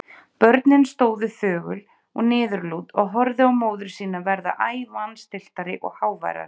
Börnin stóðu þögul og niðurlút og horfðu á móður sína verða æ vanstilltari og háværari.